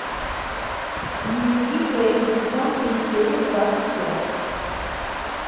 дневники кэрри сезон три серия двадцать пять